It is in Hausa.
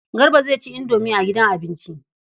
Garba zai ci indomi a gidan abinci.